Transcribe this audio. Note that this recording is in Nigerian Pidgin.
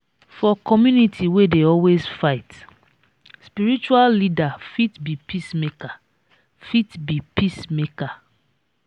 for community wey dey always fight spiritual leader fit be peacemaker fit be peacemaker